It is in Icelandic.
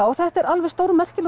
þetta er alveg stórmerkilegur